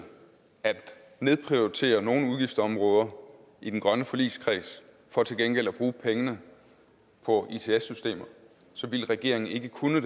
at nedprioritere nogle udgiftsområder i den grønne forligskreds for til gengæld at bruge pengene på its systemer så ville regeringen ikke kunne